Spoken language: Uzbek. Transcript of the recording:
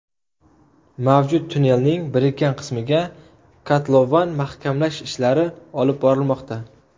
Mavjud tunnelning birikkan qismiga kotlovan mahkamlash ishlari olib borilmoqda.